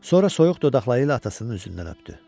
Sonra soyuq dodaqları ilə atasının üzündən öpdü.